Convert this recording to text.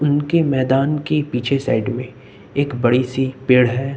उनके मैदान की पीछे साइड में एक बड़ी सी पेड़ है।